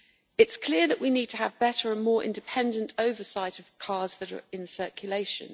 It is clear that we need to have better and more independent oversight of cars that are in circulation.